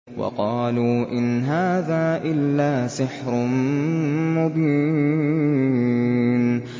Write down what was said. وَقَالُوا إِنْ هَٰذَا إِلَّا سِحْرٌ مُّبِينٌ